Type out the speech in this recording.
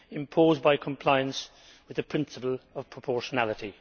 imposed by compliance with the principle of proportionality.